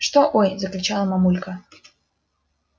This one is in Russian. что ой закричала мамулька